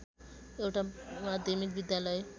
एउटा माध्यमिक विद्यालय